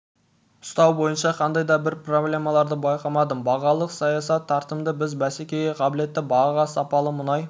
ұстау бойынша қандай да бір проблемаларды байқамадым бағалық саясат тартымды біз бәсекеге қабілетті бағаға сапалы мұнай